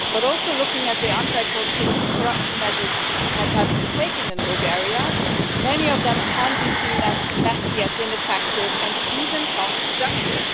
Also, looking at the anti-corruption measures that have been taken in Bulgaria, many of them can be seen as ineffective and even counterproductive.